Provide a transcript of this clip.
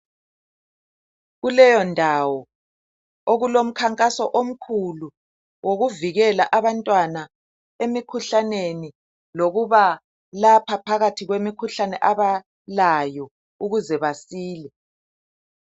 Kuleyo ndawo okulomkhankaso omkhulu wokuvikela abantwana emkhuhlaneni lokuba lapha phakathi kwemikhuhlane abalayo ukuze basile.